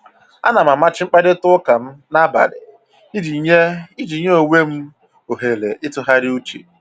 Ana m amachi mkparịta ụka m n'abalị iji nye iji nye onwe m ohere ịtụgharị uche